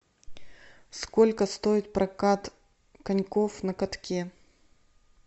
сколько стоит прокат коньков на катке